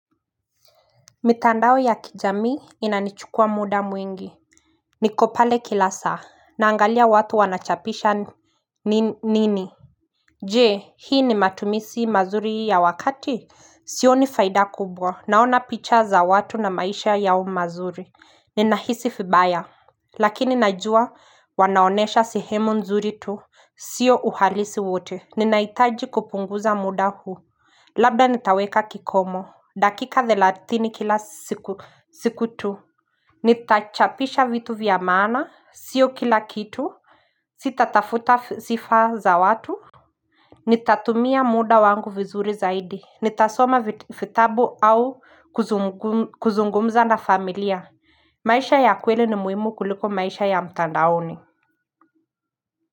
Mitandao ya kijamii inanichukua muda mwingi niko pale kila saa naangalia watu wanachapisha nini Je hii ni matumizi mazuri ya wakati Sioni faida kubwa naona picha za watu na maisha yao mazuri Ninahisi vibaya Lakini najua wanaonesha sehemu nzuri tu Sio uhalisi wote Ninahitaji kupunguza muda huu Labda nitaweka kikomo dakika thelathini kila siku tu Nitachapisha vitu vya maana, sio kila kitu Sitatafuta sifa za watu Nitatumia muda wangu vizuri zaidi Nitasoma vitabu au kuzungumza na familia maisha ya kweli ni muhimu kuliko maisha ya mtandaoni.